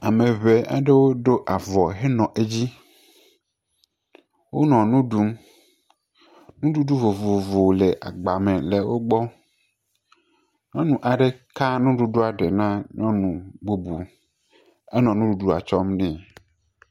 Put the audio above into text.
Ame ŋee aɖewo ɖo avɔ henɔ edzi. Wonɔ nu ɖum. Nuɖuɖu vovovo le agba me le wo gbɔ. Nyɔnu aɖe ka nuɖuɖua ɖe na nyɔnu bubu. Enɔ nuɖuɖua kɔm ne.